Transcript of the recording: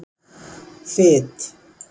Fit